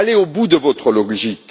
Allez au bout de votre logique